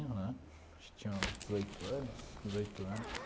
Né acho que eu tinha dezoito anos, dezoito anos.